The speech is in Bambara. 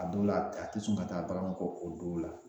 A dɔw la a ti sɔn ka taa bagan kɔ o don la